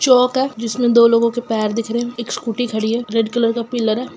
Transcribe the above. चोक है जिसमे दो लोगों की पैर दिख रहे है स्कूटी खड़ी है रेड कलर का पिलर है।